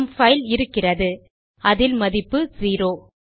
நம் பைல் இருக்கிறது அதில் மதிப்பு செரோ